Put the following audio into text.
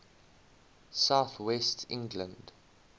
south west england